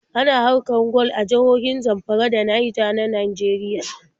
Ana haƙar gwal a jihohin Zamfara da Naija na Nageriya.